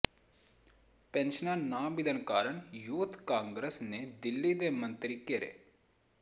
ਪੈਨਸ਼ਨਾਂ ਨਾ ਮਿਲਣ ਕਾਰਨ ਯੂਥ ਕਾਂਗਰਸ ਨੇ ਦਿੱਲੀ ਦੇ ਮੰਤਰੀ ਘੇਰੇ